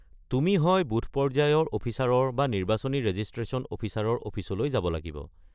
তুমি হয় বুথ-পৰ্য্যায়ৰ অফিচাৰৰ বা নিৰ্বাচনী ৰেজিষ্ট্ৰেশ্যন অফিচাৰৰ অফিচলৈ যাব লাগিব।